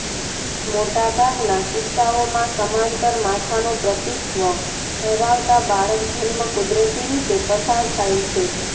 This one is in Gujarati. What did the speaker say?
મોટાભાગનાં કિસ્સાઓમાં સમાંતર માથાનો પ્રતીતત્વ ધરાવતા બાળકજન્મ કુદરતી રીતે પસાર થાય છે